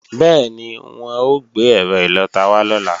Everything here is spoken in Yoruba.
Bẹ́ẹ̀ni, wọ́n ó gbé ẹ̀rọ ìlọta wá lọ́la